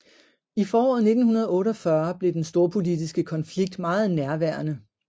I foråret 1948 blev den storpolitiske konflikt meget nærværende